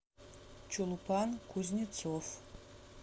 чулпан кузнецов